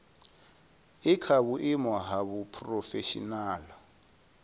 i kha vhuimo ha phurofeshinala